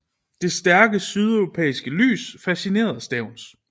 Det stærke sydeuropæiske lys fascinerede Stevns